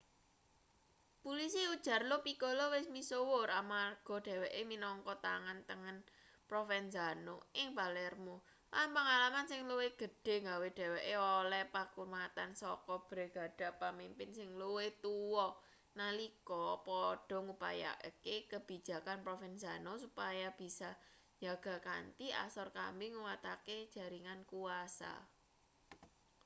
pulisi ujar lo piccolo wis misuwur amarga dheweke minangka tangan tengen provenzano ing palermo lan pangalaman sing luwih gedhe nggawe dheweke oleh pakurmatan saka bregada pamimpin sing luwih tuwa nalika padha ngupayakake kabijakan provenzano supaya bisa njaga kanthi asor kambi nguwatake jaringan kuwasa